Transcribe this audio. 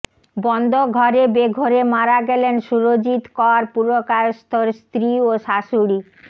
বন্ধ ঘরে বেঘোরে মারা গেলেন সুরজিৎ কর পুরকায়স্থর স্ত্রী ও শাশুড়ি